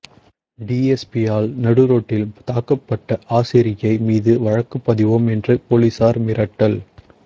டிஎஸ்பியால் நடு ரோட்டில் தாக்கப்பட்ட ஆசிரியை மீது வழக்குப் பதிவோம் என்று போலீசார் மிரட்டல்